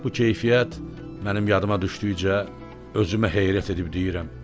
Bu keyfiyyət mənim yadıma düşdükcə özümə heyrət edib deyirəm.